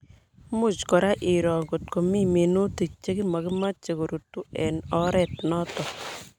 Much kora iroo kotko mii minutik che makimache korutu eng' oret notok